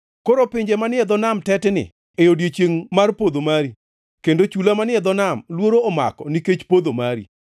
Koro pinje manie dho nam tetni e odiechiengʼ mar podho mari; kendo chula manie nam luoro omako nikech podho mari.’